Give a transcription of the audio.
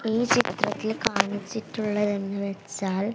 ഈ ചിത്രത്തിൽ കാണിച്ചിട്ടുള്ളത് എന്ന് വെച്ചാൽ--